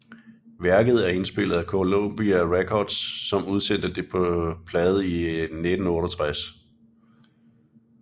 Værket er indspillet af Columbia Records som udsendte det på plade i 1968